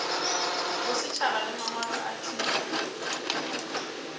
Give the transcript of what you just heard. bosetšhaba le mangwalo a thuto